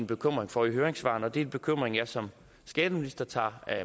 bekymring for i høringssvarene og det er en bekymring jeg som skatteminister tager